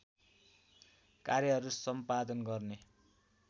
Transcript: कार्यहरू सम्पादन गर्ने